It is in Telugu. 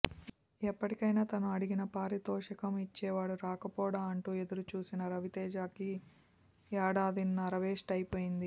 ఎప్పటికైనా తను అడిగిన పారితోషికం ఇచ్చేవాడు రాకపోడా అంటూ ఎదురు చూసిన రవితేజకి ఏడాదిన్నర వేస్ట్ అయిపోయింది